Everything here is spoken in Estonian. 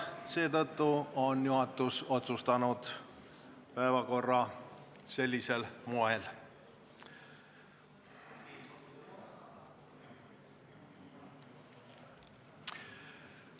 Seetõttu on juhatus otsustanud koostada päevakorra just sellisel moel.